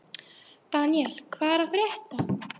Daniel, hvað er að frétta?